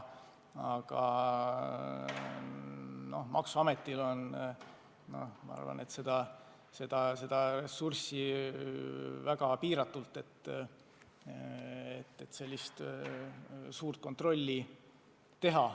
Aga maksuametil on ressurssi liiga vähe, et sellist suurt kontrolli teha.